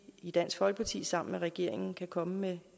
i dansk folkeparti sammen med regeringen kan komme med